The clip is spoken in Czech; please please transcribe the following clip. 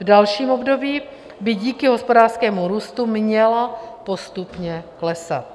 V dalším období by díky hospodářskému růstu měla postupně klesat.